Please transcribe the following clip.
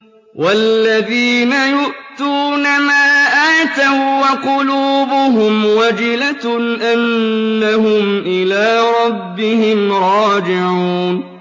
وَالَّذِينَ يُؤْتُونَ مَا آتَوا وَّقُلُوبُهُمْ وَجِلَةٌ أَنَّهُمْ إِلَىٰ رَبِّهِمْ رَاجِعُونَ